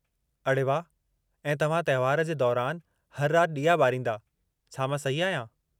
अड़े वाह। ऐं तव्हां त्योहार जे दौरानि हर राति ॾीया ॿारींदा, छा मां सही आहियां?